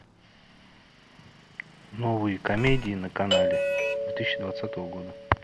новые комедии на канале две тысячи двадцатого года